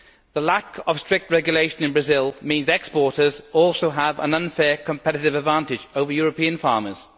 The lack of strict regulation in Brazil means exporters also have an unfair competitive advantage over European farmers.